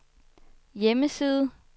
hjemmeside